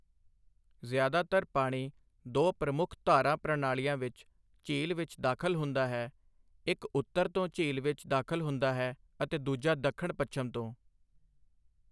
ਜ਼ਿਆਦਾਤਰ ਪਾਣੀ ਦੋ ਪ੍ਰਮੁੱਖ ਧਾਰਾ ਪ੍ਰਣਾਲੀਆਂ ਵਿੱਚ ਝੀਲ ਵਿੱਚ ਦਾਖਲ ਹੁੰਦਾ ਹੈ, ਇੱਕ ਉੱਤਰ ਤੋਂ ਝੀਲ ਵਿੱਚ ਦਾਖਲ ਹੁੰਦਾ ਹੈ, ਅਤੇ ਦੂਜਾ ਦੱਖਣ ਪੱਛਮ ਤੋਂ।